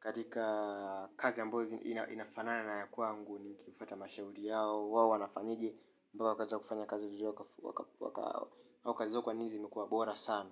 katika kazi ambayo inafanana na ya kwangu. Nikifuata mashauri yao wao wanafanyeje mpaka wakaeza kufanya kazi vizuri au kazi zao kwa nini zimekuwa bora sana.